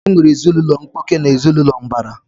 E nwere ezinaụlọ mkpuke na ezinaụlọ mbara